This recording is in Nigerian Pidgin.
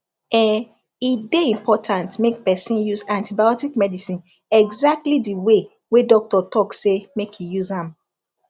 ehh e dey important make person use antibiotic medicine exactly the way wey doctor talk say make e use am